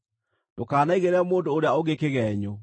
“Ndũkanaigĩrĩre mũndũ ũrĩa ũngĩ kĩgeenyo.